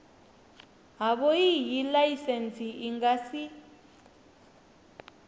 havhoiyi laisentsi i nga si